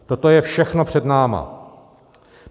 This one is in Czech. Toto je všechno před námi.